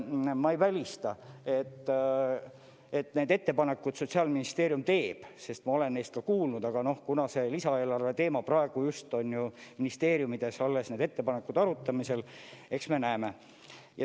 Ma ei välista, et neid ettepanekuid Sotsiaalministeerium teeb, sest ma olen neist kuulnud, aga kuna see lisaeelarve teema praegu just on ministeeriumides, alles need ettepanekud arutamisel, eks me näeme.